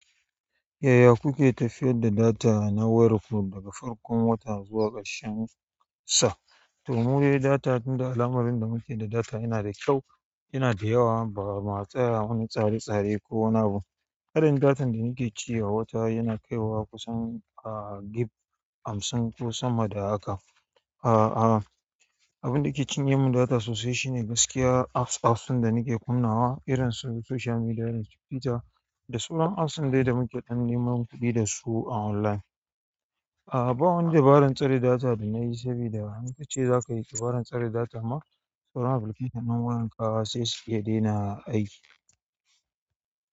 Yaya kuke tafiyar da data na wayarku daga farkon wata zuwa ƙarshen sa? To mu dai data, tunda al'amarin da muke da data yana da kyau, yana da yawa bama a tsaya wani tsare-tsare ko wani abu. Adadin datan da nake ci a wata yana kaiwa kusan, ah, gib hamsin ko sama da haka. A'a, abin da ke cinye mun data sosai shine gaskiya apps, apps ɗin da nake kunnawa irin su social media da Twitter da sauran apps ɗin dai da muke tana neman kuɗi dasu a online. A'a, ba wani dabarar tsare data da nayi sabida in kace zakayi dabarar tsare data ma, sauran apliket ɗin wayar ka sai su iya daina aiki.